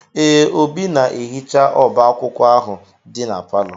Ee, Obinna na-ehicha ọba akwụkwọ ahụ dị na palọ.